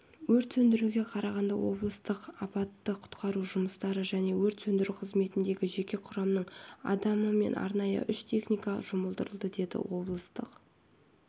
өрт сөндіруге қарағанды облыстық апатты құтқару жұмыстары және өрт сөндіру қызметіндегі жеке құрамның адамы мен арнайы үш техника жұмылдырылды деді облыстық